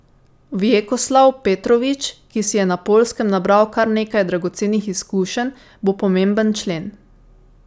Vjekoslav Petrovič, ki si je na Poljskem nabral kar nekaj dragocenih izkušenj, bo pomemben člen.